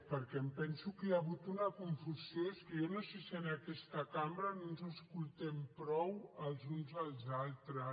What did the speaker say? perquè em penso que hi ha hagut una confusió és que jo no sé si en aquesta cambra no ens escoltem prou els uns als altres